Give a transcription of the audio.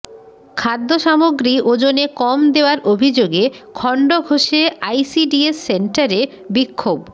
খাদ্য সামগ্রী ওজনে কম দেওয়ার অভিযোগে খণ্ডঘোষে আইসিডিএস সেন্টারে বিক্ষোভ